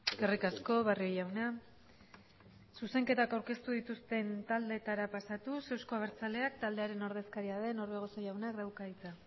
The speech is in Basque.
eskerrik asko barrio jauna zuzenketak aurkeztu dituzten taldeetara pasatuz euzko abertzaleak taldearen ordezkaria den orbegozo jaunak dauka hitza